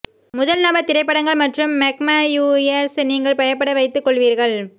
முதல் நபர் திரைப்படங்கள் மற்றும் மெக்மயூயியர்ஸ் நீங்கள் பயப்பட வைத்துக் கொள்வீர்கள்